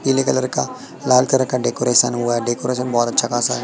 पीले कलर का लाल कलर का डेकोरेशन हुआ डेकोरेशन बहुत अच्छा खासा है।